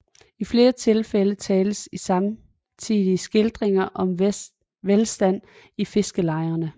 I flere tilfælde tales i samtidige skildringer om velstand i fiskerlejerne